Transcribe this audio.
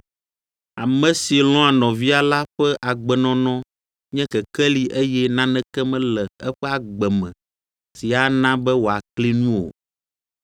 Ame si lɔ̃a nɔvia la ƒe agbenɔnɔ nye kekeli eye naneke mele eƒe agbe me si ana be wòakli nu o.